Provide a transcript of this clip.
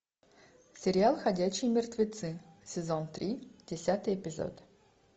сериал ходячие мертвецы сезон три десятый эпизод